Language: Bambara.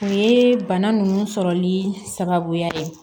U ye bana nunnu sɔrɔli sababuya ye